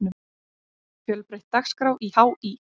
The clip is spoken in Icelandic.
Fjölbreytt dagskrá í HÍ